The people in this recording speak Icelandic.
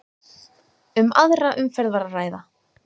Um aðra umferð var að ræða